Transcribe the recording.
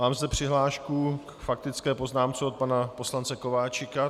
Mám zde přihlášku k faktické poznámce od pana poslance Kováčika.